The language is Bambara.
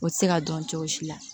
O tɛ se ka dɔn cogo si la